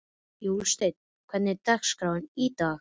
Jósteinn, hvernig er dagskráin í dag?